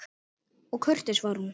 Og kurteis var hún.